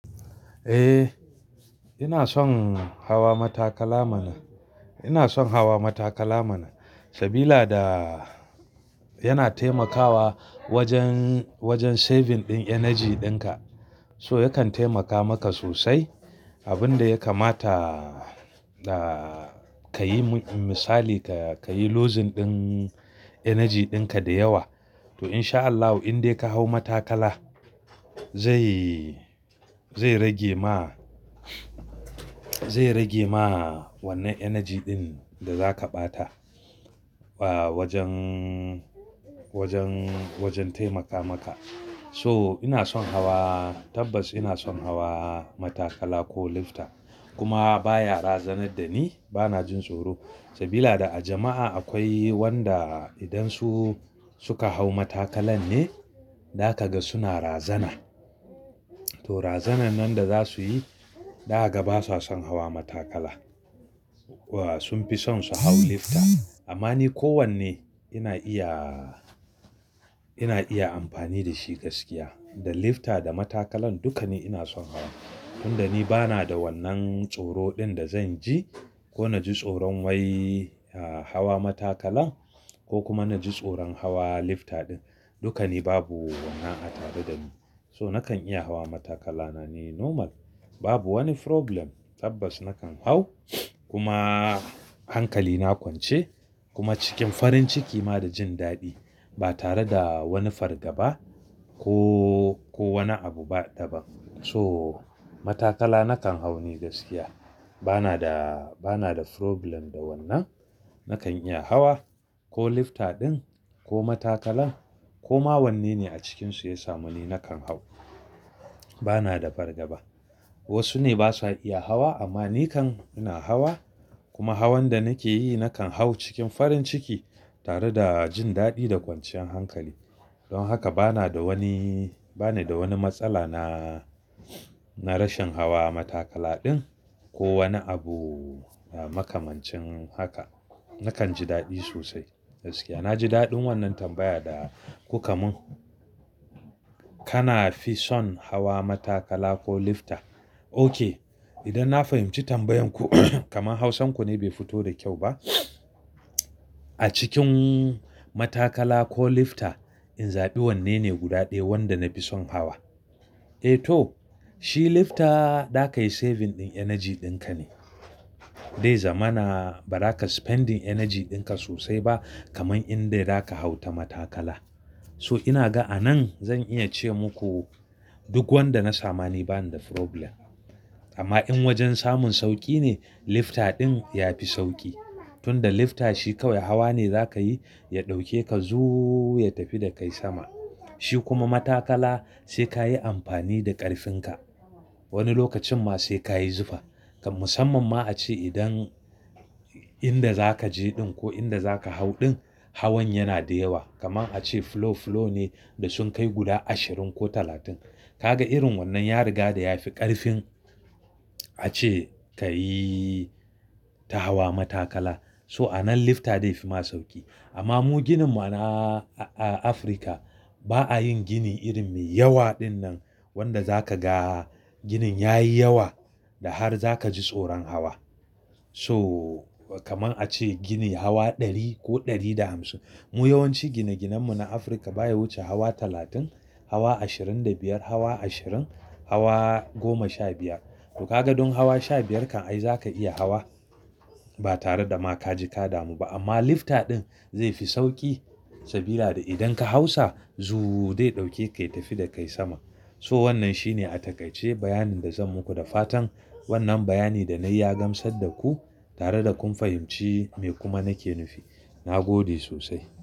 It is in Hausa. Eh, ina son hawa matakala mana. Ina son hawa matakala mana. Sabila da yana taimakawa wajen, wajen saving ɗin energy ɗinka. So yakan taimaka maka sosai. Abin da ya kamata, ka yi misali ka yi losing ɗin energy ɗinka da yawa. To insha Allahu indai ka hau matakala zai, zai rage ma, zai rage ma wannan energy ɗin da zaka ɓata wajen, wajen, wajen taimaka maka. So ina son hawa tabbas ina son hawa matakala ko lifta. Kuma baya razanar da ni bana jin tsoro. Sabila da a jama'a akwai wanda idan su suka hau matakalan ne, da kaga suna razana. To razanan da za su yi, daga ba sa son hawa matakala. Sun fi son su hau lifta. Amma ni kowanne ina iya, ina iya amfani da shi gaskiya. Da lifta da matakalan duka ni ina son hawa. Tunda ni bana da wannan tsoro ɗin da zan ji ko naji tsoron wai hawa matakala ko kuma naji tsoron hawa lifta ɗin. Duka ni babu wannan a tare da ni. So nakan iya hawa matakala na ni normal. Babu wani problem tabbas nakan hau kuma hankali na kwance kuma cikin farin ciki ma da jin daɗi ba tare da wani fargaba ko, ko wani abu ba daban. So matakala nakan hau ni gaskiya. Bana da, bana da problem da wannan. Nakan iya hawa ko lifta ɗin ko matakala ko ma wanne ne a cikinsu ya samu ni nakan hau. Bana da fargaba. Wasu ne basa iya hawa amma ni kam ina hawa kuma hawan da nake yi nakan hau cikin farin ciki tare da jin daɗi da kwanciyan hankali. Don haka bana da wani, bani da wani matsala na, na rashin hawa matakala ɗin ko wani abu makamancin haka. Nakan ji daɗi sosai gaskiya. Na ji daɗin wannan tambaya da kuka mun. Kana fi son hawa matakala ko lifta? Ok. Idan na fahimci tambayan ku kamar hausan ku ne bai fito da kyau ba. A cikin matakala ko lifta, in zaɓi wanne ne guda ɗaya wanda na fi son hawa. Eh to shi lifta za kayi saving ɗin energy ɗinka ne. Dai zamana ba za ka spending energy ɗinka sosai ba kaman inda za ka hau na matakala. So ina ga anan zan iya ce muku duk wanda na samu ni bani da problem. Amma in wajen samun sauƙi ne, lifta ɗin ya fi sauƙi. Tunda lifta shi kawai hawa ne za ka yi, ya ɗauke ka zuuu ya tafi da kai sama. Shi kuma matakala sai ka yi amfani da ƙarfinka. Wani lokacin ma sai ka yi zufa. Kam musamman ma a ce idan inda za ka je ɗin ko inda za ka hau ɗin hawan yana da yawa. Kaman a ce flow, flow ne da sun kai guda ashirin ko talatin. Ka ga irin wannan ya riga da ya fi ƙarfin a ce ka yi ta hawa matakala. So anan lifta dai fi ma sauƙi. Amma mu gininmu na a Afirka ba a yin gini irin me yawa ɗin nan wanda za ka ga ginin ya yi yawa da har za ka ji tsoron hawa. So kaman a ce gini hawa ɗari ko ɗari da hamsin. Mu yawanci gine-ginen mu na Afirka baya wuce hawa talatin, hawa ashirin da biyar, hawa ashirin, hawa goma sha biyar. To ka ga dun hawa sha biyar kan ai zaka iya hawa ba tare da ma kaji ka damu ba. Amma lifta ɗin zai fi sauƙi sabila da idan ka hau sa zuuu dai ɗauke ka ya tafi da kai sama. So wannan shi ne a takaice bayanin da zan muku da fatan wannan bayani da na yi ya gamsar da ku tare da kun fahimci me kuma nake nufi. Na gode sosai.